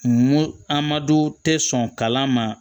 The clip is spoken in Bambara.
N ko amadu tɛ sɔn kalan ma